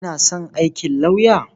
Kina son aikin lauyer?